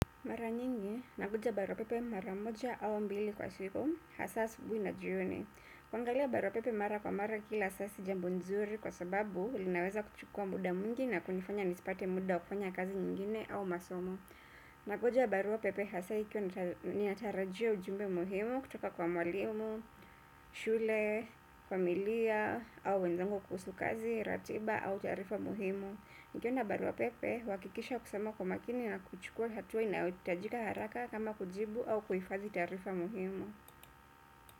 Mara nyingi, nangoja baruapepe mara moja au mbili kwa siku, hasa asubuhi na jioni. Kuangalia baruapepe mara kwa mara kila saa si jambo nzuri kwa sababu linaweza kuchukua muda mwingi na kunifanya nisipate muda wa kufanya kazi nyingine au masomo. Nangoja baruapepe hasa ikiwa natarajia ujumbe muhimu kutoka kwa mwalimu, shule, familia, au wenzangu kuhusu kazi, ratiba au taarifa muhimu. Nikiona baruapepe, huhakikisha kusoma kwa makini na kuchukua hatua inayohitajika haraka kama kujibu au kuhifadhi taarifa muhimu.